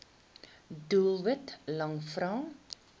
doelwit lang vrae